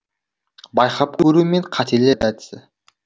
байқап көру мен қателер әдісі